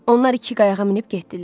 Onlar iki qayıqa minib getdilər.